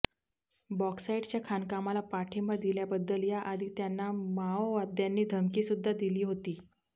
बॉक्साईटच्या खाणकामाला पाठिंबा दिल्याबद्दल याआधी त्यांना माओवाद्यांनी धमकीसुद्धा दिली होती